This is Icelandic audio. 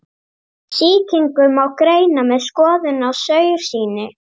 Sýkingu má greina með skoðun á saursýni.